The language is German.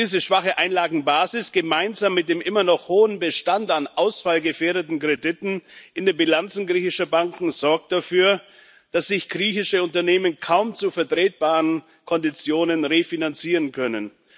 Diese schwache Einlagenbasis, gemeinsam mit dem immer noch hohen Bestand an ausfallgefährdeten Krediten in den Bilanzen griechischer Banken, sorgt dafür, dass sich griechische Unternehmen kaum zu vertretbaren Konditionen refinanzieren können.